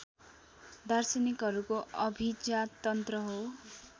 दार्शनिकहरूको अभिजाततन्त्र हो